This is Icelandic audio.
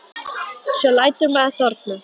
Svo lætur maður þorna.